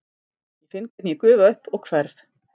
Ég finn hvernig ég gufa upp og hverf.